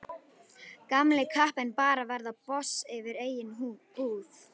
Gamli kappinn bara að verða boss yfir eigin búð.